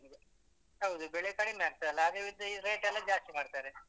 ಹೌದು ಬೆಳೆ ಕಡಿಮೆ ಆಗ್ತದಲ್ಲ ಆಗ ಇವರದ್ದು rate ಎಲ್ಲ ಜಾಸ್ತಿ ಮಾಡ್ತಾರೆ.